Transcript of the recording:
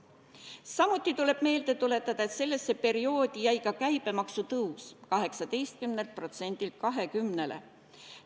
Samuti tuleb meelde tuletada, et sellesse perioodi jäi ka käibemaksu tõus 18%-lt 20%-le.